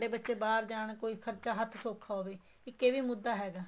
ਵੀ ਸਾਡੇ ਬੱਚੇ ਬਾਹਰ ਜਾਣ ਕੋਈ ਖਰਚਾ ਹੱਥ ਸੋਖਾ ਹੋਵੇ ਇੱਕ ਏ ਵੀ ਮੁੱਦਾ ਹੈਗਾ